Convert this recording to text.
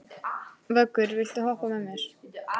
Vöggur, viltu hoppa með mér?